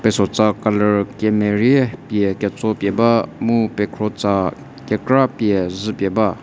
pesotsa colour kemerie pie ketso pie ba mu pekhro tsa kekra pie zhü pie ba.